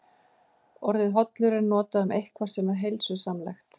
Orðið hollur er notað um eitthvað sem er heilsusamlegt.